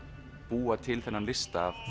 búa til þennan lista